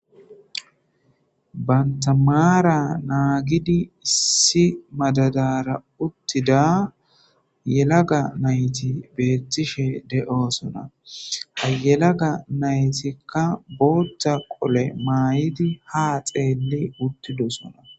Bantamaara naagidi issi madadara uttida yelaga nayti beettishe de'osona hayelaga naytikka boothta qole maayidi ha xeelli uttidosona.